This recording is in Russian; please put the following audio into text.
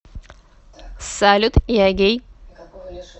салют я гей